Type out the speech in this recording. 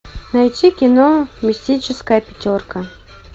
найти кино мистическая пятерка